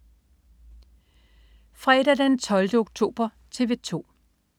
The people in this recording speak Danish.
Fredag den 12. oktober - TV 2: